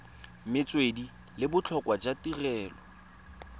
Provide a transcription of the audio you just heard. metswedi le botlhokwa jwa tirelo